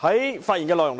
我發言主要